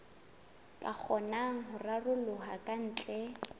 ka kgonang ho raroloha kantle